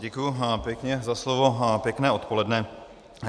Děkuji pěkně za slovo a pěkné odpoledne.